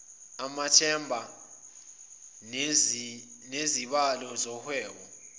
amathenda nezibalo zohwebo